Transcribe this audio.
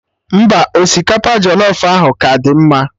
Mba, osikapa jọlọf ahụ ka dị mma